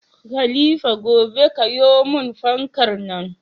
Khalifa gobe kayo mun fankar nan